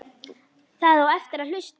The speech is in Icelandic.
Það á eftir að hlusta.